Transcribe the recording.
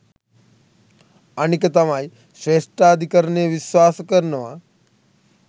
අනික තමයි ශ්‍රේෂ්ඨාධිකරණය විශ්වාස කරනවා